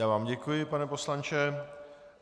Já vám děkuji, pane poslanče.